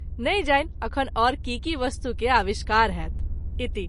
नहिं जानि अखन और की की वस्तु के आविष्कार होयत। इति